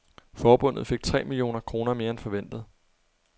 Forbundet fik tre millioner kroner mere end forventet.